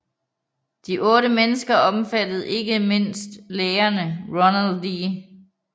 De otte mennesker omfattede ikke mindst lægerne Ronald D